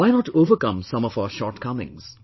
Why not overcome some of our shortcomings